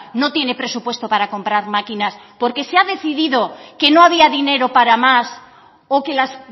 no tiene presupuesto para comprar máquinas porque se ha decidido que no había dinero para más o que las